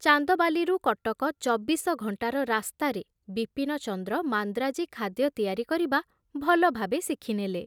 ଚାନ୍ଦବାଲିରୁ କଟକ ଚବିଶ ଘଣ୍ଟାର ରାସ୍ତାରେ ବିପିନଚନ୍ଦ୍ର ମାନ୍ଦ୍ରାଜୀ ଖାଦ୍ୟ ତିଆରି କରିବା ଭଲଭାବେ ଶିଖିନେଲେ।